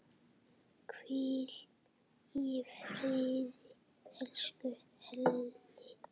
Hvíl í friði, elsku Elli.